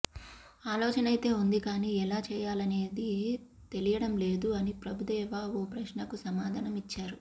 ఆలోచనైతే ఉంది కానీ ఎలా చేయాలనేదే తెలియడం లేదు అని ప్రభుదేవా ఓ ప్రశ్నకు సమాధానం ఇచ్చారు